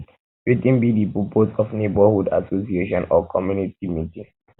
wetin be di purpose of neighborhood association or community um meeting